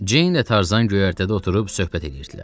Ceyn ilə Tarzan göyərtədə oturub söhbət edirdilər.